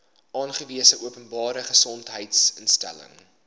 aangewese openbare gesondheidsinstelling